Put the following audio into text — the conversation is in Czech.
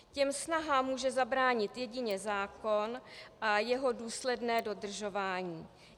Těm snahám může zabránit jedině zákon a jeho důsledné dodržování.